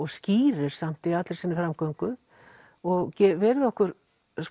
skýrir samt í allri sinni framgöngu og verið okkur